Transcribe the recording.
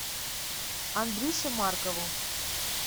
андрюше маркову